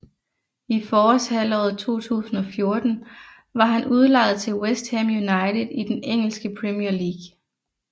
I forårshalvåret 2014 var han udlejet til West Ham United i den engelske Premier League